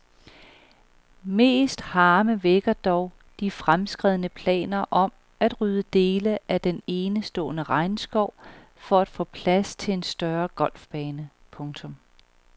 Mest harme vækker dog de fremskredne planer om at rydde dele af den enestående regnskov for at få plads til en større golfbane. punktum